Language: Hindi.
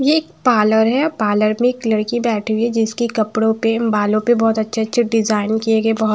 ये एक पार्लर है पार्लर में एक लड़की बैठी है जिसके कपड़ों पे बालों पे बहुत अच्छे-अच्छे डिजाइन किए गए बहुत--